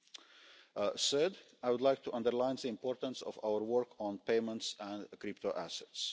Union. Third, I would like to underline the importance of our work on payments and crypto